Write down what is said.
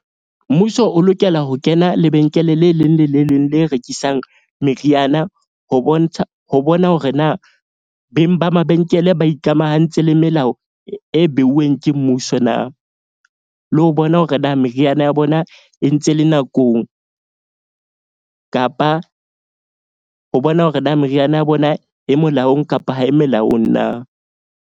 Mmuso o lokela ho kena lebenkele le leng le le leng le rekisang meriana ho bontsha, ho bona hore na beng ba mabenkele ba ikamahantse le melao e beuweng ke mmuso na. Le ho bona hore na meriana ya bona e ntse e le nakong kapa ho bona hore na meriana ya bona e molaong kapa ha e melaong na.